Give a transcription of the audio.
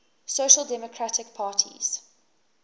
social democratic parties